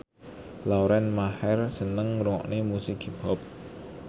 Lauren Maher seneng ngrungokne musik hip hop